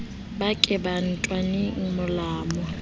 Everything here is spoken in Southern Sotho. ba ke ba ntwanele molamu